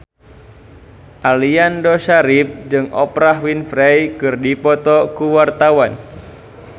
Aliando Syarif jeung Oprah Winfrey keur dipoto ku wartawan